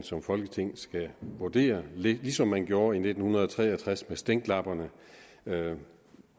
som folketing skal vurdere ligesom man gjorde i nitten tre og tres med stænklapperne da